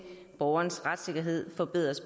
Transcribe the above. borgernes retssikkerhed forbedres